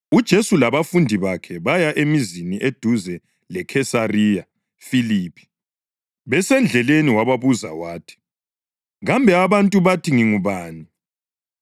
UJesu labafundi bakhe baya emizini eduze leKhesariya Filiphi. Besendleleni wababuza wathi, “Kambe abantu bathi ngingubani?”